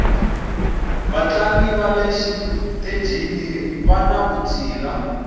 vatlangi vale xitejini vani vutshila